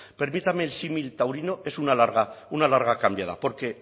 permítame el símil taurino es una larga cambiada porque